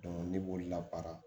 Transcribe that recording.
ne b'olu labaara